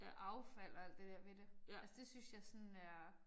Affald og alt det der ved det. Altså det synes jeg sådan er